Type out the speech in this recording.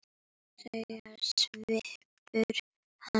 segir svipur hans.